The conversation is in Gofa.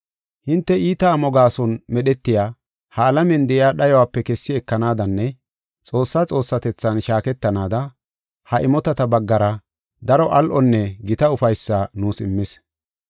Hinte iita amo gaason medhetiya ha alamiyan de7iya dhayope kessi ekanaadanne Xoossaa xoossatethan shaaketanaada, ha imotata baggara daro al7onne gita ufaysaa nuus immis.